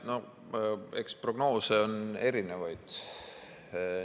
No eks prognoose on erinevaid.